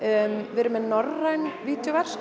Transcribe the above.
við erum með norræn